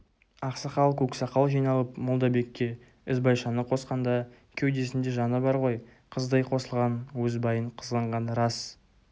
ақсақал-көксақал жиналып молдабекке ізбайшаны қосқанда кеудесінде жаны бар ғой қыздай қосылған өз байын қызғанғаны рас